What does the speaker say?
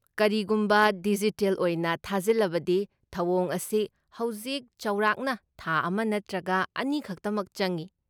ꯀꯔꯤꯒꯨꯝꯕ ꯗꯤꯖꯤꯇꯦꯜ ꯑꯣꯏꯅ ꯊꯥꯖꯤꯜꯂꯕꯗꯤ, ꯊꯧꯑꯣꯡ ꯑꯁꯤ ꯍꯧꯖꯤꯛ ꯆꯥꯎꯔꯥꯛꯅ ꯊꯥ ꯑꯃ ꯅꯠꯇ꯭ꯔꯒ ꯑꯅꯤ ꯈꯛꯇꯃꯛ ꯆꯪꯏ ꯫